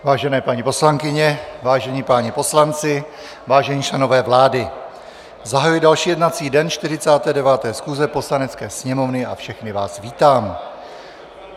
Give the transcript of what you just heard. Vážené paní poslankyně, vážení páni poslanci, vážení členové vlády, zahajuji další jednací den 49. schůze Poslanecké sněmovny a všechny vás vítám.